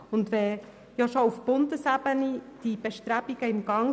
Entsprechende Bestrebungen sind schon auf Bundesebene im Gang.